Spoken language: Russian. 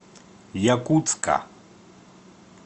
якутска